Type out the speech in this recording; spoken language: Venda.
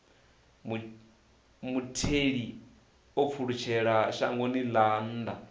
mutheli o pfulutshelaho shangoni ḽa nnḓa